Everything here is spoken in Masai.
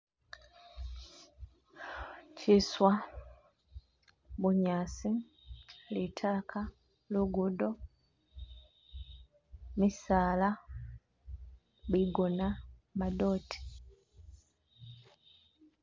Chiswa, bunyasi, litaka, lugudo, misaala, bigona, madote.